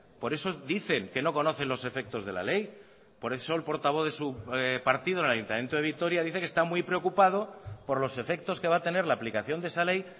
por eso dicen que no conocen los efectos de la ley por eso el portavoz de su partido en el ayuntamiento de vitoria dice que está muy preocupado por los efectos que va a tener la aplicación de esa ley